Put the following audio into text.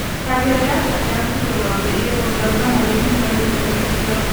Taageerayaasha ayaa ku jawaabay iyagoo dalbanaya in fariinta la tirtiro.